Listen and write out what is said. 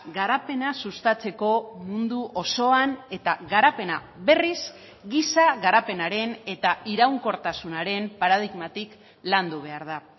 garapena sustatzeko mundu osoan eta garapena berriz giza garapenaren eta iraunkortasunaren paradigmatik landu behar da